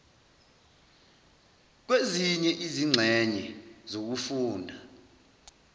kwezinye izingxenye zokufunda